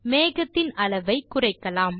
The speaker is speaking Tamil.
மேகத்தின் அளவை குறைக்கலாம்